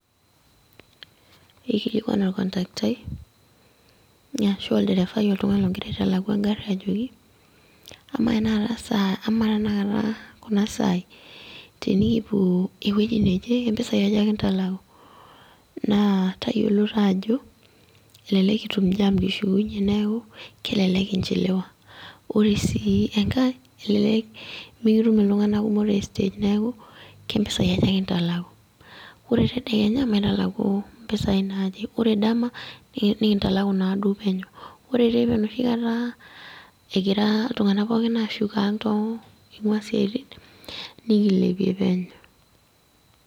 Eikilikwan ake olkontakitai, arashu oltung'ani logira aitalaku egarri ajoki, amaa tanakata kuna saai tenikipuo ewoi neje, kempisai aja kintalaku? Naa tayiolo tajo, elelek kitum jam kishukunye neeku, kelelek inchiliwa. Ore sii enkae, elelek mikitum iltung'anak kumok te stage neeku, kempisai aja kintalaku?. Ore tedekenya, mpisai naaje. Ore dama, nikintalaku naadou penyo. Ore teipa enoshi kata egira iltung'anak pooki ashuko ang' ing'ua siaitin, nikilepie penyo.